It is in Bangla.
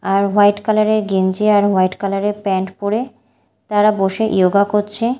আর হোয়াইট কালার -এর গেঞ্জি আর হোয়াইট কালার -এর প্যান্ট পরে তারা বসে ইয়োগা করছে।